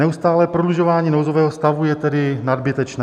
Neustálé prodlužování nouzového stavu je tedy nadbytečné.